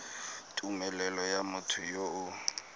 tumelelo ya motho yo o